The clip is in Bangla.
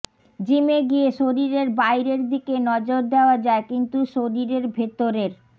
জিমে গিয়ে শরীরের বাইরের দিকে নজর দেওয়া যায় কিন্তু শরীরের ভেতরের